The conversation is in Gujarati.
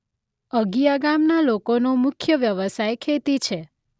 અગિયા ગામના લોકોનો મુખ્ય વ્યવસાય ખેતી છે.